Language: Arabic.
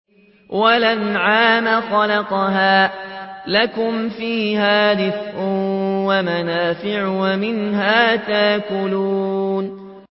وَالْأَنْعَامَ خَلَقَهَا ۗ لَكُمْ فِيهَا دِفْءٌ وَمَنَافِعُ وَمِنْهَا تَأْكُلُونَ